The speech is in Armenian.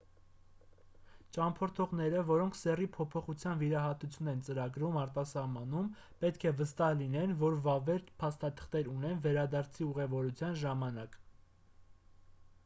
ճամփորդողները որոնք սեռի փոփոխության վիրահատություն են ծրագրում արտասահմանում պետք է վստահ լինեն որ վավեր փաստաթղթեր ունեն վերադարձի ուղևորության ժամանակ